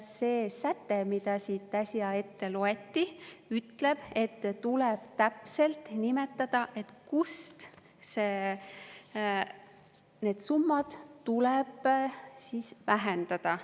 See säte, mida siit äsja ette loeti, ütleb, et tuleb täpselt nimetada, kust need summad tuleb vähendada.